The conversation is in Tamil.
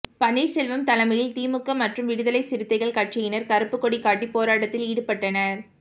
பன்னீர்செல்வம் தலைமையில் திமுக மற்றும் விடுதலை சிறுத்தைகள் கட்சியினர் கருப்புக்கொடி காட்டி போராட்டத்தில் ஈடுபட்டனர்